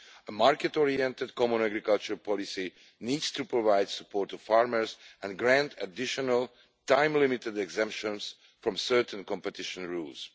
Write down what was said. A market oriented common agricultural policy needs to provide support for farmers and grant additional time-limited exemptions from certain competition rules.